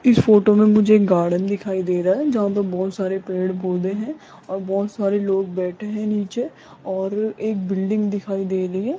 इस फोटो में मुझे एक गार्डन दिखाई दे रहा है जहां पर बहुत सारे पेड़-पौधे हैं और बहुत सारे लोग बैठे हैं नीचे और एक बिल्डिंग दिखाई दे रही है।